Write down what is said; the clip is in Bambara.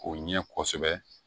O ɲɛ kosɛbɛ